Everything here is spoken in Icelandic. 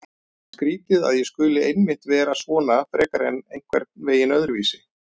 Skrýtið að ég skuli einmitt vera svona frekar en einhvern veginn öðruvísi.